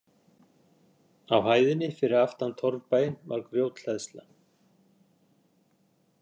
Á hæðinni fyrir aftan torfbæinn var grjóthleðsla.